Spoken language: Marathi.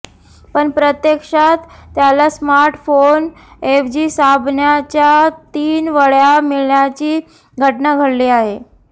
पण प्रत्यक्षात त्याला स्मार्ट फोन ऐवजी साबणाच्या तीन वड्या मिळाल्याची घटना घडली आहे